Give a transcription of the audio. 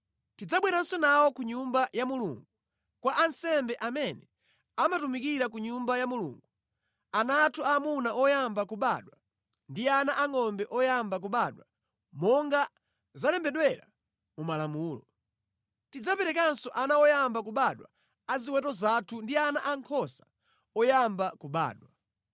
“Tidzabweranso nawo ku Nyumba ya Mulungu, kwa ansembe amene amatumikira ku Nyumba ya Mulungu ana athu aamuna oyamba kubadwa ndi ana angʼombe oyamba kubadwa monga zalembedwera mu Malamulo. Tidzaperekanso ana oyamba kubadwa a ziweto zathu ndi ana ankhosa oyamba kubadwa.”